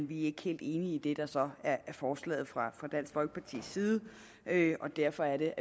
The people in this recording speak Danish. vi ikke helt enige i det der så er forslaget fra dansk folkepartis side og derfor